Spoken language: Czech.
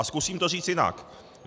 A zkusím to říct jinak.